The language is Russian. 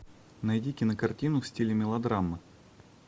найди кинокартину в стиле мелодрамы